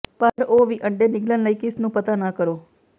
ਪਰ ਉਹ ਵੀ ਅੰਡੇ ਨਿਗਲਣ ਲਈ ਕਿਸ ਨੂੰ ਪਤਾ ਨਾ ਕਰੋ